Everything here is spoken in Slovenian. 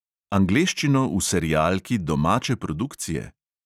Angleščino v serialki domače produkcije?